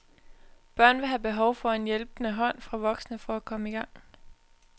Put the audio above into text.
Børn vil have behov for en hjælpende hånd fra voksne for at komme i gang.